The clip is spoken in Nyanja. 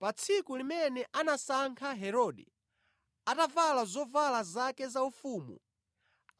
Pa tsiku limene anasankha Herode, atavala zovala zake zaufumu,